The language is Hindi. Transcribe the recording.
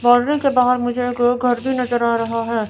बाउंड्री के बाहर मुझे एक घर भी नज़र आ रहा है।